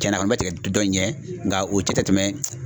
Cɛnna a kɔni bɛ tigɛ dɔ in ɲɛ nka u cɛ tɛ tɛmɛ.